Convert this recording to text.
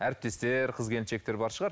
әріптестер қыз келіншектер бар шығар